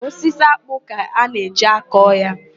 Osisi ákpụ́ ka a na-eji akọ ya.